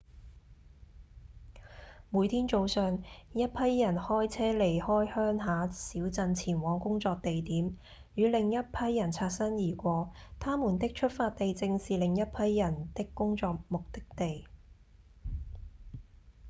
每天早上一批人開車離開鄉下小鎮前往工作地點與另一批人擦身而過他們的出發地正是另一批人的工作目的地